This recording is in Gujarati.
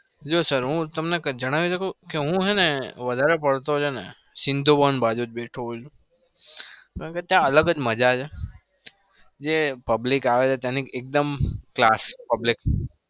જો sir હું તમને જણાવી શકું હું છે ન સીન્ધુવન બાજુ જ બેઠો હોઉં છુ. કારણ કે ત્યાં અલગ જ મજા છે જે public આવે છે ત્યાંની એકદમ class public